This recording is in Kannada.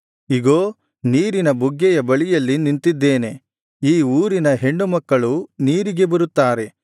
ಇಗೋ ನೀರಿನ ಬುಗ್ಗೆಯ ಬಳಿಯಲ್ಲಿ ನಿಂತಿದ್ದೇನೆ ಈ ಊರಿನ ಹೆಣ್ಣುಮಕ್ಕಳು ನೀರಿಗೆ ಬರುತ್ತಾರೆ